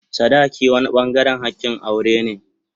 sadaki wani bangaren hakin aure ne.